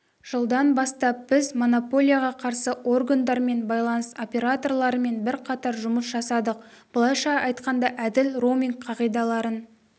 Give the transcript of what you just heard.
жылдан бастап біз монополияға қарсы органдармен байланыс операторларымен бірқатар жұмыс жасадық былайша айтқанда әділ роуминг қағидаларын